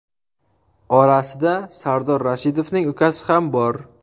Orasida Sardor Rashidovning ukasi ham bor.